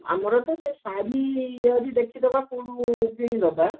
ଆମର ତ ସେ ଶାଢୀ ଦେଖିଦବା କଉଠୁ କିଣିଦବା